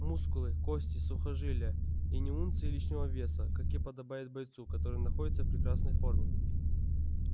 мускулы кости сухожилия и ни унции лишнего веса как и подобает бойцу который находится в прекрасной фррме